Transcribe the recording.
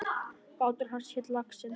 Bátur hans hét Laxinn.